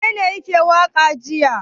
Wanene yake waƙa jiya?